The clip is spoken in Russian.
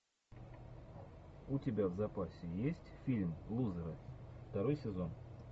у тебя в запасе есть фильм лузеры второй сезон